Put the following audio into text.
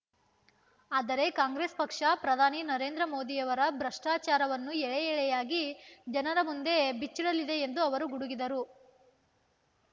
ಆದರೆ ಕಾಂಗ್ರೆಸ್ ಪಕ್ಷ ಪ್ರಧಾನಿ ನರೇಂದ್ರ ಮೋದಿಯವರ ಭ್ರಷ್ಟಾಚಾರವನ್ನು ಎಳೆ ಎಳೆಯಾಗಿ ಜನರ ಮುಂದೆ ಬಿಚ್ಚಿಡಲಿದೆ ಎಂದು ಅವರು ಗುಡುಗಿದರು